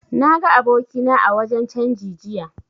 Na ga abokina a wajen canji jiya